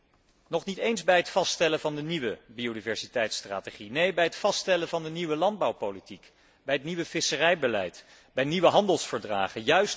En nog niet eens bij het vaststellen van de nieuwe biodiversiteitstrategie. Nee, bij het vaststellen van de nieuwe landbouwpolitiek, bij het nieuwe visserijbeleid, bij nieuwe handelsverdragen.